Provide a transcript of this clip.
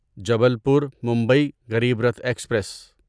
Jabalpur Mumbai Garib Rath express